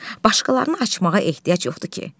Başqalarını açmağa ehtiyac yoxdur ki?